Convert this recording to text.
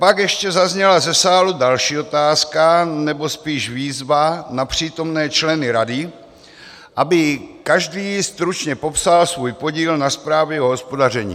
Pak ještě zazněla ze sálu další otázka, nebo spíš výzva na přítomné členy rady, aby každý stručně popsal svůj podíl na zprávě o hospodaření.